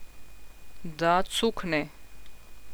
Da cukne.